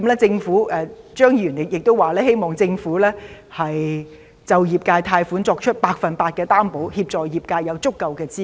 張議員亦說希望政府就業界貸款作出百分百擔保，協助業界有足夠的資金......